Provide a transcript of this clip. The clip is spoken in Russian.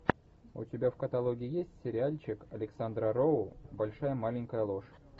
у тебя в каталоге есть сериальчик александра роу большая маленькая ложь